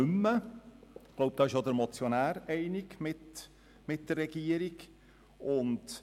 Ich glaube, diesbezüglich geht der Motionär mit der Regierung einig.